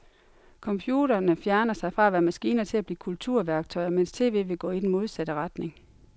Computerne fjerner sig fra at være maskiner til at blive kulturværktøjer, mens tv vil gå i den modsatte retning.